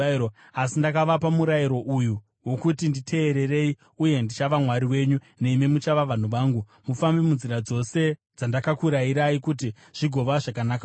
asi ndakavapa murayiro uyu wokuti nditeererei, uye ndichava Mwari wenyu nemi muchava vanhu vangu. Mufambe munzira dzose dzandakakurayirai, kuti zvigova zvakanaka kwamuri.